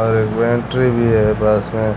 और एक बैटरी भी है पास में।